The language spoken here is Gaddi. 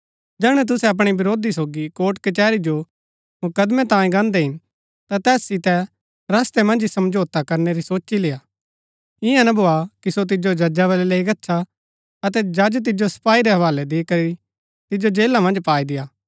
जैहणै तुसै अपणै विरोधी सोगी कोर्ट कचैहरी जो मुकदमैं तांई गांदै हिन ता तैस सितै रस्तै मन्ज ही समझौता करनै री सोची लेआ ईयां ना भोआ कि सो तिजो जजा बलै लैई गच्छा अतै जज तिजो सपाई रै हवालै दी करी तिजो जेला मन्ज पाई देआ